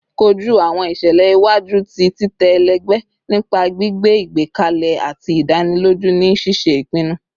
Koju awọn iṣẹlẹ iwaju ti titẹ ẹlẹgbẹ nipa gbigbe igbẹkẹle ati idaniloju ni ṣiṣe ipinnu